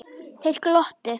Þeir glottu.